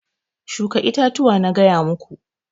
Shuka itatuwa na gaya muku!